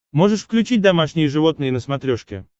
можешь включить домашние животные на смотрешке